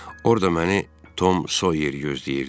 Orda məni Tom Soyer gözləyirdi.